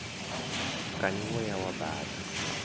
kani wo ya wa baṱa